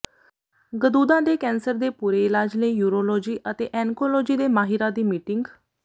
ਗਦੂਦਾਂ ਦੇ ਕੈਂਸਰ ਦੇ ਪੂਰੇ ਇਲਾਜ ਲਈ ਯੂਰੋਲੌਜੀ ਅਤੇ ਐਨਕੋਲੌਜੀ ਦੇ ਮਾਹਿਰਾਂ ਦੀ ਮੀਟਿੰਗ